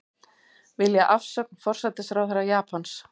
Vilja afsögn forsætisráðherra Japans